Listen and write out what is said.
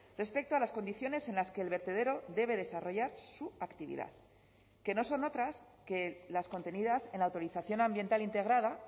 respecto a las condiciones en las que el vertedero debe desarrollar su actividad que no son otras que las contenidas en la autorización ambiental integrada